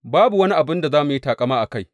Babu wani abin da zamu yi taƙama a kai.